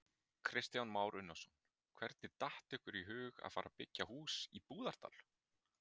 Kristján Már Unnarsson: Hvernig datt ykkur í hug að fara byggja hús í Búðardal?